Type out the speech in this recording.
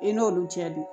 I n'olu cɛ don